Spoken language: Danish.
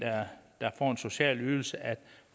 social ydelse